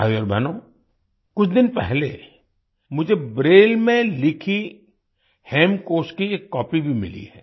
भाइयो और बहनों कुछ दिन पहले मुझे ब्रेल में लिखी हेमकोश की एक कॉपी भी मिली है